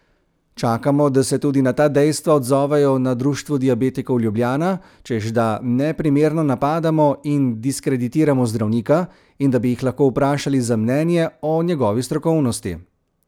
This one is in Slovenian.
Čakamo, da se tudi na ta dejstva odzovejo na Društvu diabetikov Ljubljana, češ da neprimerno napadamo in diskreditiramo zdravnika in da bi jih lahko vprašali za mnenje o njegovi strokovnosti.